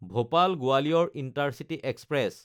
ভূপাল–গোৱালিয়ৰ intercity express